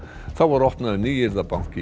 þá var opnaður